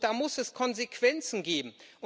Da muss es Konsequenzen geben.